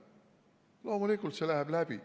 Loomulikult, see läheb läbi.